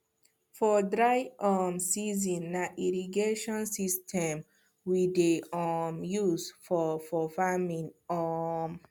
for dry um season na irrigation system we dey um use for for farming um